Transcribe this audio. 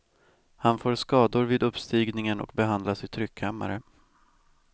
Han får skador vid uppstigningen och behandlas i tryckkammare.